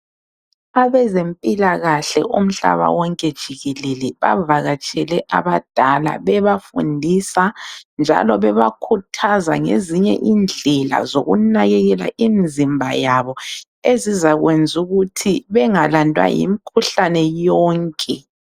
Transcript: Abezempilakahle umhlaba wonke jikelele bavakatshele abadala bebafundisa njalo bebakhuthaza ngezinye indlela zokunakekela imizimba yabo ezizakwenza ukuthi bengalandwa yimikhuhlane yonke.